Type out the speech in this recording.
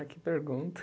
Ai, que pergunta.